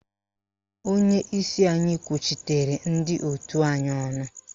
Onyeisi anyị kwuchitere ndị òtù anyị ọnụ